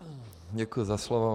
Děkuji za slovo.